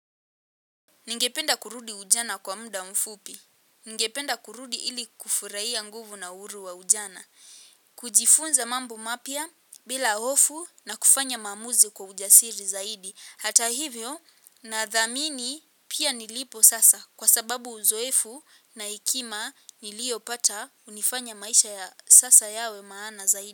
Ningependa kurudi ujana kwa muda mfupi. Ningependa kurudi ili kufurahia nguvu na uhuru wa ujana. Kujifunza mambo mapya bila hofu na kufanya maamuzi kwa ujasiri zaidi. Hata hivyo nadhamini pia nilipo sasa kwa sababu uzoefu na hekima niliyo pata hunifanya maisha ya sasa yawe maana zaidi.